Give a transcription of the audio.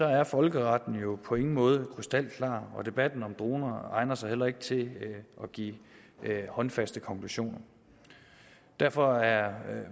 er folkeretten jo på ingen måde krystalklar og debatten om droner egner sig heller ikke til at give håndfaste konklusioner derfor er